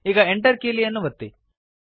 ಈಗ Enter ಕೀಲಿಯನ್ನು ಒತ್ತಿ